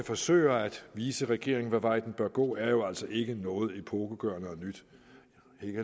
forsøger at vise regeringen hvilken vej den bør gå er jo altså ikke noget epokegørende nyt